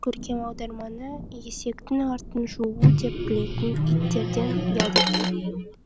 көркем аударманы есектің артын жуу деп білетін иттерден ұят екен